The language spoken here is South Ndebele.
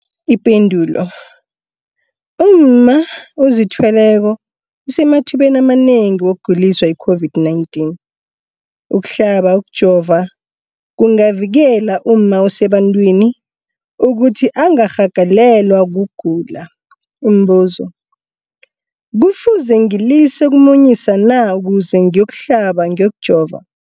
Ipendulo, umma ozithweleko usemathubeni amanengi wokuguliswa yi-COVID-19. Ukuhlaba, ukujova kungavikela umma osebantwini ukuthi angarhagalelwa kugula. Umbuzo, kufuze ngilise ukumunyisa na ukuze ngiyokuhlaba, ngiyokujova?